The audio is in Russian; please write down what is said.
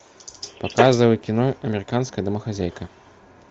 показывай кино американская домохозяйка